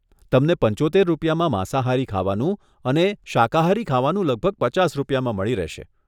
તમને પંચોતેર રૂપિયામાં માંસાહારી ખાવાનું અને અને શાકાહારી ખાવાનું લગભગ પચાસ રૂપિયામાં મળી રહેશે.